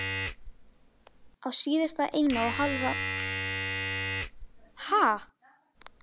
Hann skilur núna hvernig í öllu þessu liggur.